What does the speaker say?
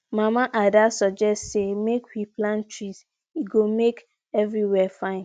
mama ada suggest say make we plant flowers e make everywhere fine